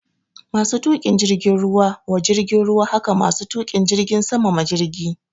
Masu tuƙin jirgin ruwa wa jirgin ruwa hake masu tuƙin jirgin sama ma jirgi